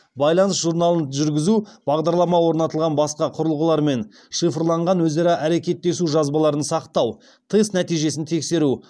байланыс журналын жүргізу бағдарлама орнатылған басқа құрылғылармен шифрланған өзара әрекеттесу жазбаларын сақтау тест нәтижесін тексеру